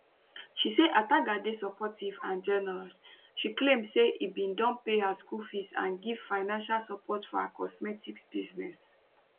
she say ataga dey supportive and generous she claim say im bin don pay her school fees and give financial support for her cosmetics business